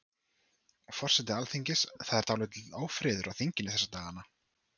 Forseti Alþingis, það er dálítill ófriður á þinginu þessa dagana?